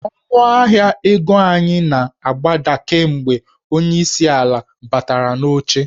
Ọnụahịa ego anyị na-agbada kemgbe onyeisi ala a batara n'oche.